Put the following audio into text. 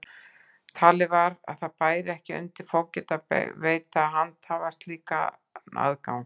Talið var að það bæri ekki undir fógeta að veita hluthafa slíkan aðgang.